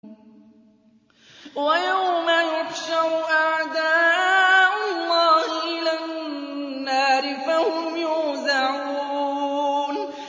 وَيَوْمَ يُحْشَرُ أَعْدَاءُ اللَّهِ إِلَى النَّارِ فَهُمْ يُوزَعُونَ